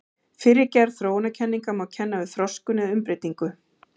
Fyrri gerð þróunarkenninga má kenna við þroskun eða umbreytingu.